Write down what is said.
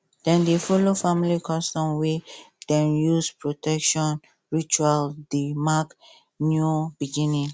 dem dey follow family custom wey dey use protection ritual dey mark new beginning